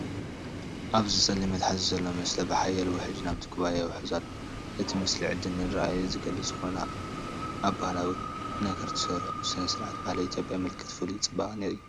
ኣብዚ ጸሊም መትሓዚ ዘሎ መስተ ብሓያል ውሕጅ ናብቲ ኩባያ ይውሕዝ ኣሎ። እቲ ምስሊ ዕድልን ራዕድን ዝገልጽ ኮይኑ፡ ኣብ ባህላዊ ነገር ተሰሪዑ፤ ስነ-ስርዓት ባህሊ ኢትዮጵያ ምልክት ፍሉይ ጽባቐን እዩ።